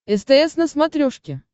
стс на смотрешке